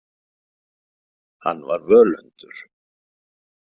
Hann var völundur.